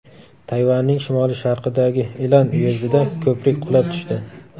Tayvanning shimoli-sharqidagi Ilan uyezdida ko‘prik qulab tushdi.